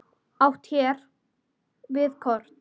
Átt er hér við kort.